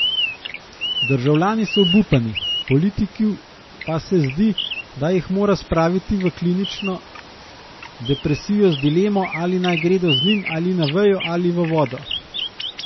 Državljani so obupani, politiku pa se zdi, da jih mora spraviti v klinično depresijo z dilemo, ali naj gredo z njim na vejo ali v vodo.